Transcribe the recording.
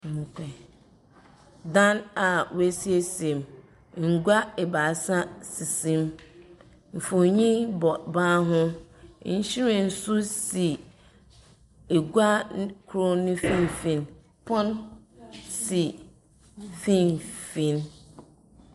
Dan a woesiesiem. Ngua ebaasa sisim. Mfonin bɔ ban ho. Nhwiren nso si egua n koro no mfimfin. Pon si mfimfin.